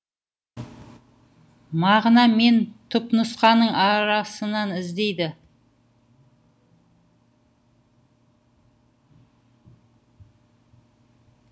мағына мен түпнұсқаның арасынан іздейді